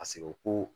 A sigo ko